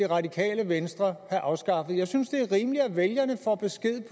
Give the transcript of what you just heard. radikale venstre have afskaffet jeg synes det er rimeligt at vælgerne får besked